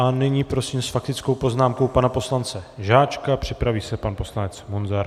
A nyní prosím s faktickou poznámkou pana poslance Žáčka, připraví se pan poslanec Munzar.